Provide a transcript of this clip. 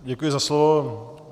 Děkuji za slovo.